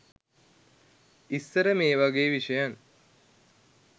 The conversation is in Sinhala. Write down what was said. ඉස්සර මේ වගේ විෂයන්